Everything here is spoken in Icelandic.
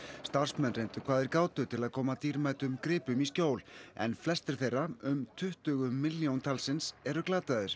starfsmenn reyndu hvað þeir gátu til að koma dýrmætum gripum í skjól en flestir þeirra um tuttugu milljón talsins eru glataðir